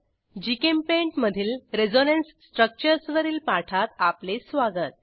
GChemPaint मधील resonance structures वरील पाठात आपले स्वागत